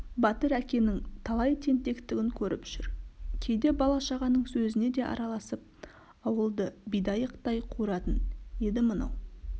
батыр әкенің талай тентектігін көріп жүр кейде бала-шағаның сөзіне де араласып ауылды бидайықтай қуыратын еді мынау